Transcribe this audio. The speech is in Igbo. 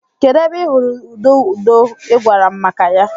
Kedu ebe ị hụrụ ududo ị gwara m maka ya?